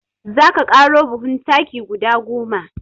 Za ka ƙaro buhun taki guda goma.